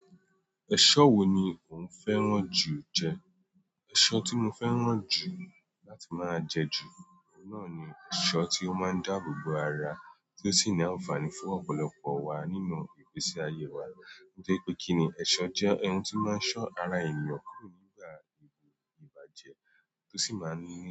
Ẹ̀ṣọ́ wo ni òuń fẹ́ràn jù jẹ? Èso tí mo fẹ́ràn jù láti ma jẹ juu náà nii èso tó máa ń dáàbò bò ara. Tí o sì nii ànfààní fún ọ̀pọ̀lọpọ̀ waa nínú ìgbésí ayé wa. Ni torípé kíni, èso jẹ́ n ti o máa ń so ara eyan nígbà tí a bá jẹ. Tosi máa n nii.